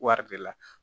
Wari de la